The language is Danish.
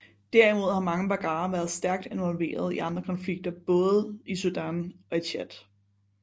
Derimod har mange baggara været stærkt involveret i andre konflikter i både Sudan og i Tchad